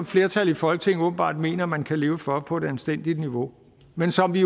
flertal i folketinget åbenbart mener at man kan leve for på et anstændigt niveau men som vi